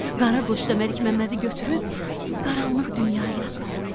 Qara qoç da Məlik Məmmədi götürüb qaranlıq dünyaya apardı.